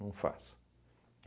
Não faço.